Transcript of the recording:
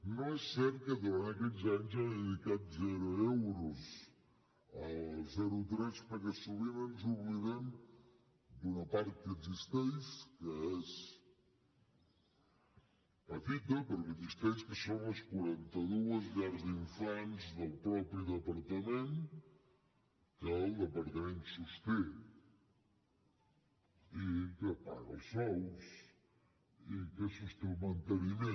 no és cert que durant aquests anys ha dedicat zero euros al zero tres perquè sovint ens oblidem d’una part que existeix que és petita però que existeix que són les quaranta dues llars d’infants del mateix departament que el departament sosté que en paga els sous i que en sosté el manteniment